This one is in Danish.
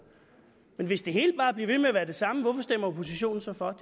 men hvis det hele bare bliver ved med at være det samme hvorfor stemmer oppositionen så for